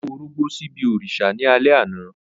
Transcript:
O mu orogbó sibi òrìṣà ni alẹ ana.